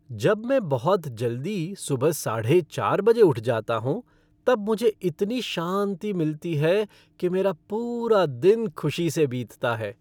जब मैं बहुत जल्दी सुबह साढ़े चार बजे उठ जाता हूँ तब मुझे इतनी शांति मिलती है कि मेरा पूरा दिन खुशी से बीतता है।